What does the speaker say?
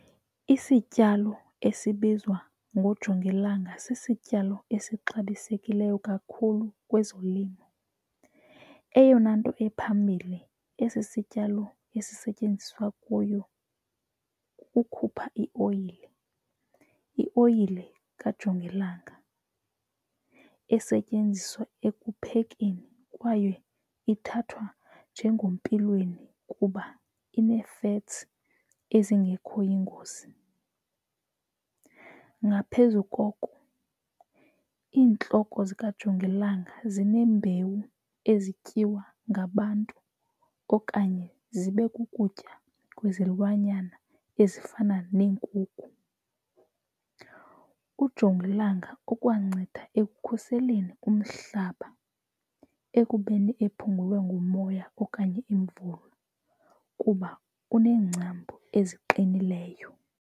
Isityalo esibizwa ngojongilanga sisityalo esixabisekileyo kakhulu kwezolimo. Eyona nto ephambili esi sityalo esisetyenziswa kuyo kukukhupha ioyile. Ioyile kajongilanga esetyenziswa ekuphekeni kwaye ithathwa njengompilweni kuba inee-fats ezingekho yingozi. Ngaphezu koko iintloko zikajongilanga zineembewu ezityiwa ngabantu okanye zibe kukutya kwezilwanyana ezifana neenkukhu. Ujongilanga ukwanceda ekukhuseleni umhlaba ekubeni ephungulwe ngumoya okanye imvula kuba uneengcambu eziqinileyo.